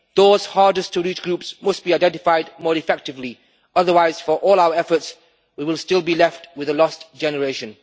Those hardest to reach groups must be identified more effectively, otherwise for all out efforts we will still be left with a lost generation.